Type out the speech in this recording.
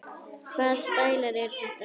Hvaða stælar eru þetta?